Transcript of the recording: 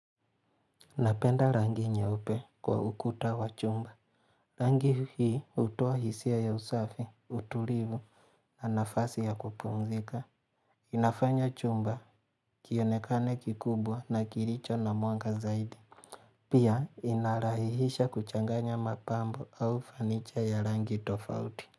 Napenda rangi nyeupe kwa ukuta wa chumba. Rangi hii hutuoa hisia ya usafi, utulivu, na nafasi ya kupumzika. Inafanya chumba kionekane kikubwa na kilicho na mwanga zaidi. Pia inarahihisha kuchanganya mapambo au fanicha ya rangi tofauti.